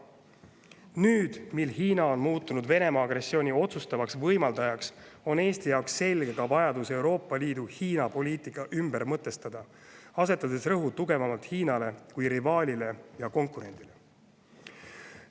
Nüüd, mil Hiina on muutunud Venemaa agressiooni otsustavaks võimaldajaks, on Eesti jaoks selge ka vajadus Euroopa Liidu Hiina-poliitika ümber mõtestada, asetades rõhk tugevamalt Hiinale kui rivaalile ja konkurendile.